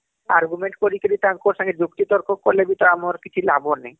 argument କରି କି ତାଙ୍କର ସାଙ୍ଗେ ଯୁକ୍ତି ତର୍କ କଲେ ବି ତ ଆମର କିଛି ଲାଭ ନାଇଁ